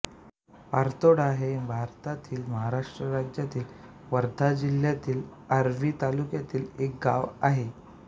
पारतोडा हे भारतातील महाराष्ट्र राज्यातील वर्धा जिल्ह्यातील आर्वी तालुक्यातील एक गाव आहे